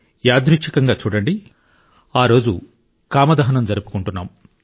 యాదృచ్చికంగా చూడండి ఈ రోజు కామ దహనం జరుపుకుంటున్నాం